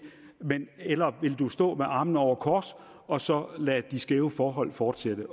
eller vil du stå med armene over kors og så lade de skæve forhold fortsætte